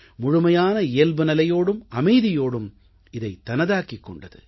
முழுமையான இயல்புநிலையோடும் அமைதியோடும் இதைத் தனதாக்கிக் கொண்டது